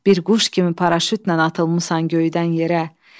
Bir quş kimi paraşutla atılmısan göydən yerə.